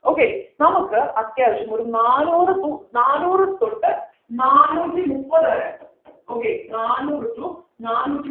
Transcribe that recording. okay നമുക്ക് അത്യാവശ്യം ഒരു നാനൂറു തു നാനൂറു തൊട്ട് നാനൂറ്റി മുപ്പത് വരെ okay നാനൂറു to നാനൂറ്റി